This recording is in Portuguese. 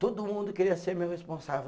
Todo mundo queria ser meu responsável.